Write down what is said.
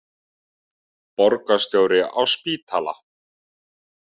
Borgarstjóri á spítala